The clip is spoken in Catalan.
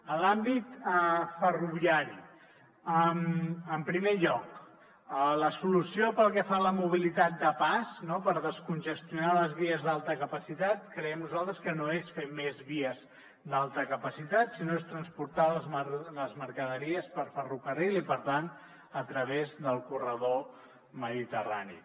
en l’àmbit ferroviari en primer lloc la solució pel que fa a la mobilitat de pas no per descongestionar les vies d’alta capacitat creiem nosaltres que no és fer més vies d’alta capacitat sinó que és transportant les mercaderies per ferrocarril i per tant a través del corredor mediterrani